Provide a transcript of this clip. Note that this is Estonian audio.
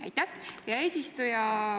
Aitäh, hea eesistuja!